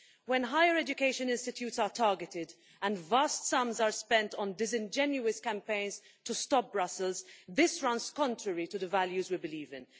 When higher education institutes are targeted and vast sums are spent on disingenuous campaigns to stop Brussels, this runs contrary to the values we believe in.